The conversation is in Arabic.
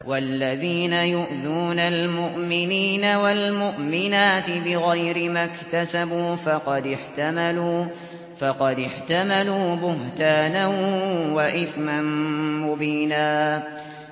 وَالَّذِينَ يُؤْذُونَ الْمُؤْمِنِينَ وَالْمُؤْمِنَاتِ بِغَيْرِ مَا اكْتَسَبُوا فَقَدِ احْتَمَلُوا بُهْتَانًا وَإِثْمًا مُّبِينًا